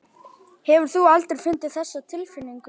Hefur þú aldrei fundið þessa tilfinningu?